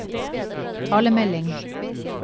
talemelding